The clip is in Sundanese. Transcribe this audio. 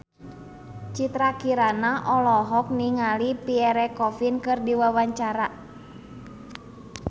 Citra Kirana olohok ningali Pierre Coffin keur diwawancara